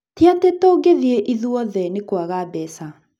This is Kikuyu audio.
Tiatĩ tũtingĩthiĩ ithuothe, nĩ kũaga mbeca.